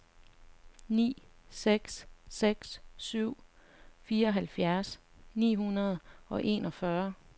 ni seks seks syv fireoghalvfjerds ni hundrede og enogfyrre